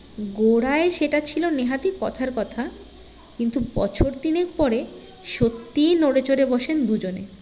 গোঁড়ায় সেটা ছিলো নেহাতই কথার কথা কিন্তু বছর তিনেক পরে সত্যিই নড়েচড়ে বসেন দুজনে